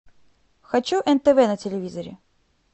хочу нтв на телевизоре